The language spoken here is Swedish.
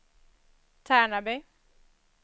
Tärnaby